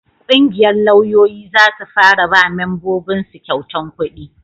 ƙungiyar lauyoyi za su fara ba mambobin su kyautan kudi